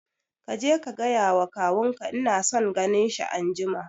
Kaje ka gaya wa kawun ka ina son ganin shi anjima